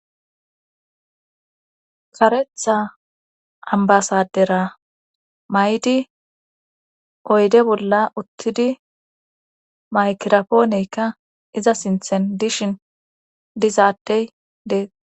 Karetha ambasadera maydi oyde bolla uttidi maykirapooneykka iza sinthen dishin dizaadey dees